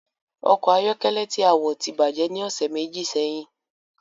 Ọkọ̀ ayọ́kẹ́lẹ́ tí a wọ̀ ti bàjẹ́ ni ọ̀sẹ̀ méjì sẹ́yìn